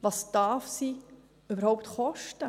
Was darf sie überhaupt kosten?